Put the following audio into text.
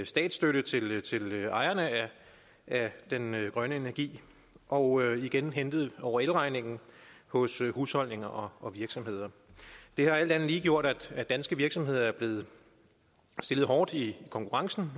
statsstøtte til ejerne af den grønne energi og igen hentet over elregningen hos husholdninger og virksomheder det har alt andet lige gjort at danske virksomheder er blevet stillet hårdt i konkurrencen